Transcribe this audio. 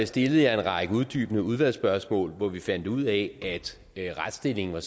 stillede jeg en række uddybende udvalgsspørgsmål hvor vi fandt ud af at retsstillingen